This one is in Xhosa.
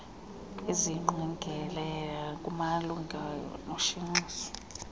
eziyingqokelela kumalunga noshenxiso